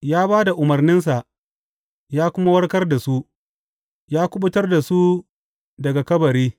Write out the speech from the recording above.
Ya ba da umarninsa ya kuma warkar da su ya kuɓutar da su daga kabari.